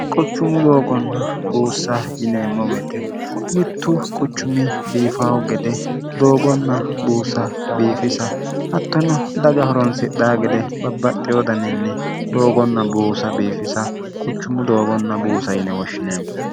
quchummu doogonna buussa yineemmo beete mittu quchumi biifaho gede doogonna buusa biifisa hattono daga horonsidhaa gede babbaxxi wodaninni doogonna buusa biifisa quchummu doogonna buusa yine woshshineemmo